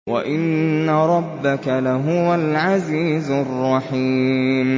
وَإِنَّ رَبَّكَ لَهُوَ الْعَزِيزُ الرَّحِيمُ